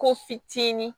Ko fitinin